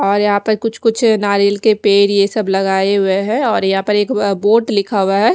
और यहाँ पर कुछ कुछ नारियल के पेड़ यह सब लगाये हुए है और यहाँ पर एक बोर्ड लिखा हुआ है।